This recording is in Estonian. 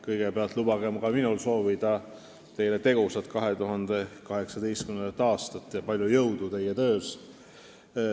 Kõigepealt lubage ka minul soovida teile tegusat 2018. aastat ja palju jõudu teie töös.